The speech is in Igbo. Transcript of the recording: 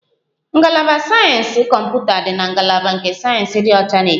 Ngalaba sayensị kọmputa dị na ngalaba nke sayensị dị ọcha na etinyere